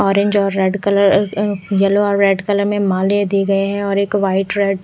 orange और red colour yellow और red colour में माले दी गए है और एक व्हाइट रेड --